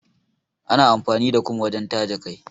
Ana amfani da kum wajen taje kai.